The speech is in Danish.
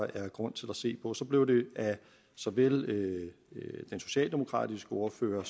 er grund til at se på så blev der af såvel den socialdemokratiske ordfører